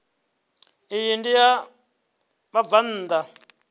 iyi ndi ya vhabvann ḓa